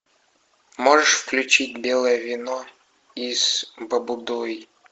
можешь включить белое вино из баббудойу